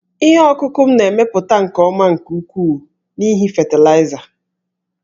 Ihe ọkụkụ m na-emepụta nke ọma nke ukwuu n'ihi fatịlaịza